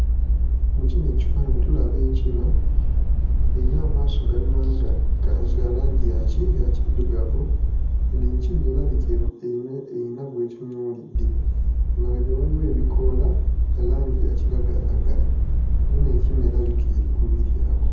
Mu kino ekifaananyi tulaba enkima erina amaaso galinga nga ga langi ya kiddugavu, eno enkima erabika eyi erina gw'etunuulidde. Emabega waliwo ebikoola bya langi yakiragalalagala era eno enkima erabika eri kubiryako.